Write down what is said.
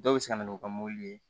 Dɔw bɛ se ka na n'u ka mɔbili ye